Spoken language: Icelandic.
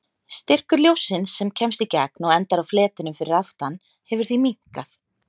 Styrkur ljóssins sem kemst í gegn og endar á fletinum fyrir aftan hefur því minnkað.